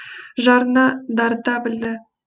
жырына дарыта білді